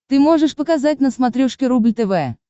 ты можешь показать на смотрешке рубль тв